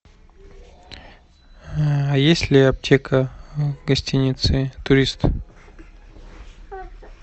есть ли аптека в гостинице турист